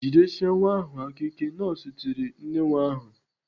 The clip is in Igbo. "Jidiesie nwa ahụ aka ike!" Nọọsụ tiri nne nwa ahụ.